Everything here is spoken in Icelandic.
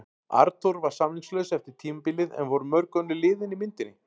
Arnþór var samningslaus eftir tímabilið en voru mörg önnur lið inni í myndinni?